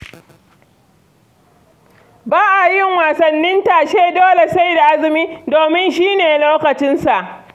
Ba a yin wasannin tashe dole sai da azumi, domin shi ne lokacinsa.